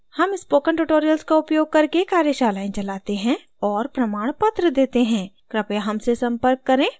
हम spoken tutorials का उपयोग करके कार्यशालाएं चालते हैं और प्रमाणपत्र देते हैं कृपया हमसे सम्पर्क करें